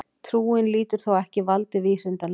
Trúin lýtur þó ekki valdi vísindanna.